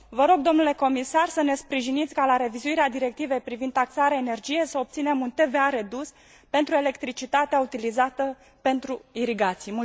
Vă rog dle comisar să ne sprijiniți ca la revizuirea directivei privind taxare energie să obținem un TVA redus pentru electricitatea utilizată pentru irigații.